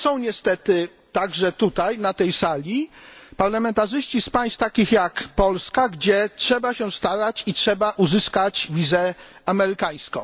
Ale są niestety także tutaj na tej sali parlamentarzyści z państw takich jak Polska, gdzie trzeba się starać o uzyskanie wizy amerykańskiej.